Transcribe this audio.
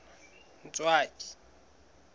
ntswaki